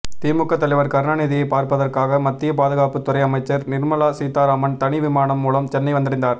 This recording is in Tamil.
திமுக தலைவர் கருணாநிதியை பார்ப்பதற்காக மத்திய பாதுகாப்பு துறை அமைச்சர் நிர்மலா சீதாராமன் தனி விமானம் மூலம் சென்னை வந்தடைந்தார்